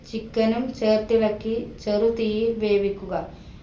chicken ഉം ചേർത്തിളക്കി ചെറു തീയിൽ വേവിക്കുക